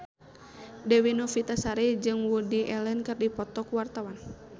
Dewi Novitasari jeung Woody Allen keur dipoto ku wartawan